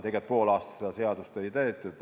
Tegelikult pool aastat seda seadust ei täidetud.